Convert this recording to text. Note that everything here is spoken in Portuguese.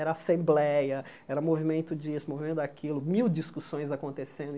Era assembleia, era movimento disso, movimento daquilo, mil discussões acontecendo.